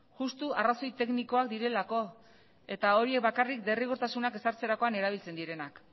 justu arrazoi teknikoak direlako eta horiek bakarrik derrigortasunak ezartzerakoan erabiltzen direnak